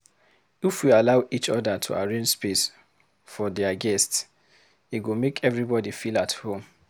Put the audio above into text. If we allow each oda to arrange space for dier guests, e go make everybody feel at home.